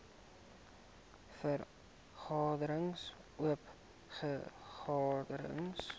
vergaderings oop vergaderings